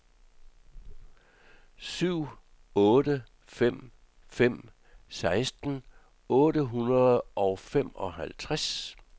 syv otte fem fem seksten otte hundrede og femoghalvtreds